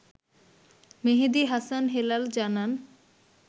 মেহেদী হাসান হেলাল জানান